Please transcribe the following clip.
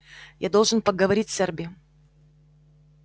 я должен поговорить с эрби